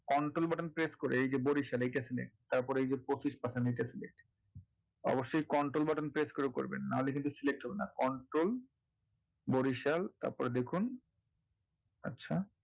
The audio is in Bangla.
control button press করে এইযে বড়িসালে তারপরে এইযে পঁচিশ percent অবশ্যই control button press করে করবেন নাহলে কিন্তু select হবে না control বড়িসাল তারপরে দেখুন, আচ্ছা।